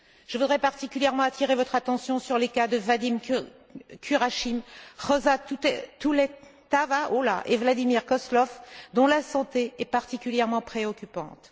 Je voudrais particulièrement attirer votre attention sur les cas de Vadim Kuramshin, Rosa Tuletaeva et Vladimir Kozlov, dont la santé est particulièrement préoccupante.